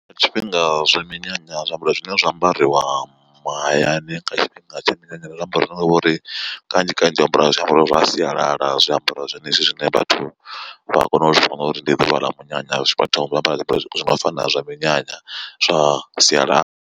Tshifhinga zwa minyanya zwiambaro zwine zwa ambariwa mahayani nga tshifhinga tsha minyanya ndi zwiambaro zwine zwa vhori kanzhi kanzhi, u ambara zwiambaro zwa sialala zwiambaro zwenezwi zwine vhathu vha kona u zwivhona uri ndi ḓuvha ḽa munyanya vhathu vha ambara zwiambaro zwi no fana zwa minyanya zwa sialala.